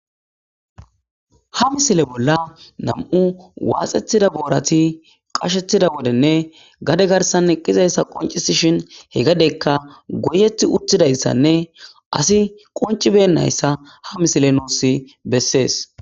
Ha misile bolla nam7u waaxetida boorati qashetida wodenne gade garsan eqqizayssa qoncisi shin he gadeykka goyeti uttidayssanne asi qoncibennayssa ha misile nuussi bessees.